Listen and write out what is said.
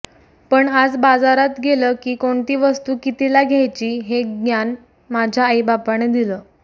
पण आज बाजारात गेलं की कोणती वस्तू कितीला घ्यायची हे ग्यान माझ्या आईबापाने दिलं